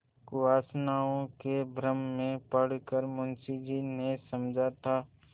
कुवासनाओं के भ्रम में पड़ कर मुंशी जी ने समझा था